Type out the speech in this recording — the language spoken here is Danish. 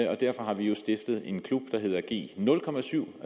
og derfor har vi stiftet en klub der hedder g07